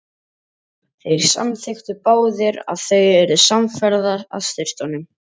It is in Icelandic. Þeir samþykktu báðir og þau urðu samferða að sturtunum.